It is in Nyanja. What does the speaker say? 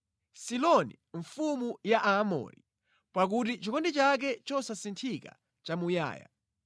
Siloni mfumu ya Aamori, pakuti chikondi chake chosasinthika nʼchamuyaya.